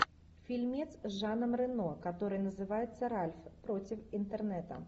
фильмец с жаном рено который называется ральф против интернета